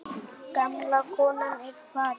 Gamla konan er farin.